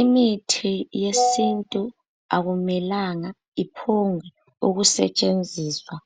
Imithi yesintu akumelanga iphombe ukusetshenziswa.